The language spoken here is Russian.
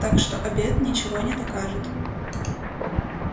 так что обед ничего не докажет